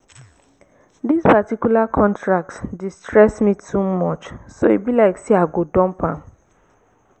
dis particular contract dey stress me too much so e be like say i go dump am